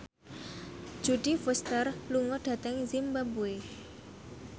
Jodie Foster lunga dhateng zimbabwe